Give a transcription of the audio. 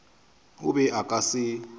o be o ka se